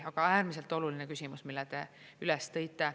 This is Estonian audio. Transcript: Aga äärmiselt oluline küsimus, mille te üles tõite.